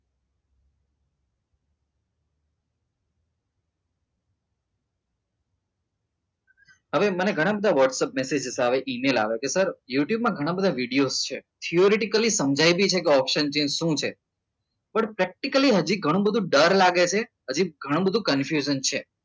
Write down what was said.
હવે મને ઘણા બધા whatsapp મેસેજ આવે ઇમેલ આવે કે સર youtube માં ઘણા બધા વિડીયો છે theoretical સમજાવી હતી કે આ option માં શું છે પણ practically હજી ઘણી બધી ડર લાગે છે હજુ ઘણી બધી confused છે